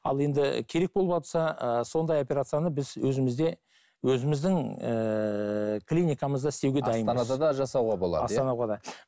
ал енді керек болыватса ы сондай операцияны біз өзімізде өзіміздің ііі клиникамызда істеуге дайынбыз астанада да жасауға болады иә да